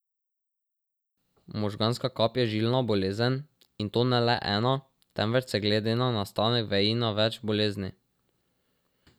Možganska kap je žilna bolezen, in to ne le ena, temveč se glede na nastanek veji na več bolezni.